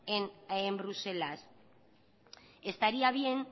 en bruselas estaría bien